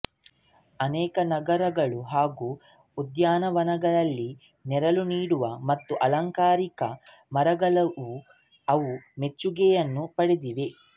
ಅನೇಕ ನಗರಗಳು ಹಾಗೂ ಉದ್ಯಾನವನಗಳಲ್ಲಿ ನೆರಳು ನೀಡುವ ಮತ್ತು ಅಲಂಕಾರಿಕ ಮರಗಳಾಗಿಯೂ ಅವು ಮೆಚ್ಚುಗೆಯನ್ನು ಪಡೆದಿವೆ